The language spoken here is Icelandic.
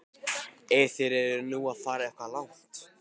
Ef þeir eru nú að fara eitthvað langt.